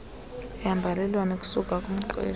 yembalelwano esuka kumqeshi